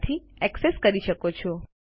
માંથી એક્સેસ કરી શકો છો